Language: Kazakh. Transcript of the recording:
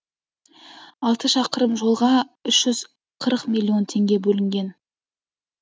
алты шақырым жолға үш жүз қырық миллион теңге бөлінген